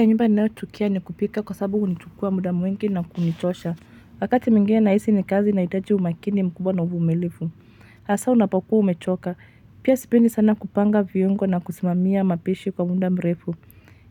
Ya nyumba ninayochukia ni kupika kwa sababu hunichukua muda mwingi na kunichosha. Wakati mwingine nahisi ni kazi inahitaji umakini mkubwa na uvumilivu. Hasa unapokuwa umechoka. Pia sipendi sana kupanga viungo na kusimamia mapishi kwa muda mrefu.